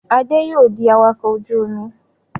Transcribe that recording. Adé yóò di awakọ̀ ojú-omi.